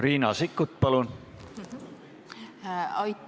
Riina Sikkut, palun!